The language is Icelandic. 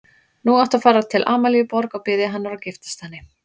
Nú áttu að fara til Amalíu Borg og biðja hennar og giftast henni.